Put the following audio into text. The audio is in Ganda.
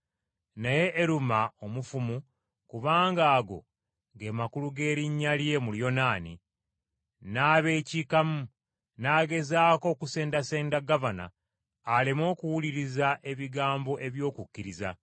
Naye Eruma omufumu (kubanga ago ge makulu g’erinnya lye mu Luyonaani), n’abeekiikamu, n’agezaako okusendasenda gavana aleme okuwuliriza ebigambo eby’okukkiriza.